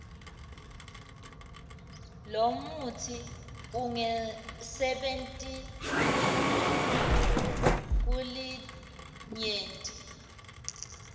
lomutsi ungasebenti kulinyenti